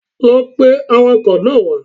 Lọ pe awakọ̀ náà wá